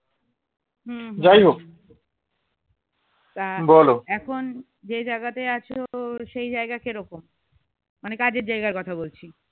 এখন যে জায়গাতে আছো সেই জায়গা কি রকম মানে কাজের জায়গার কথা বলছি